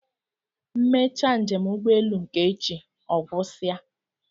M mechaa njem ụgbọelu nke echi, ọ gwụsị a